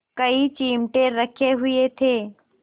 कई चिमटे रखे हुए थे